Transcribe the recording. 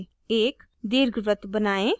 * एक दीर्घवृत्त बनाएं